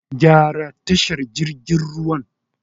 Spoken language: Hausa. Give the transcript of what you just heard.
Gyara tashar jirgin ruwan